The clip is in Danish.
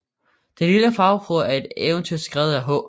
Den lille Havfrue er et eventyr skrevet af H